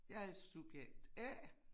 Jeg er subjekt A